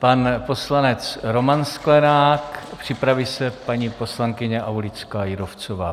Pan poslanec Roman Sklenák, připraví se paní poslankyně Aulická Jírovcová.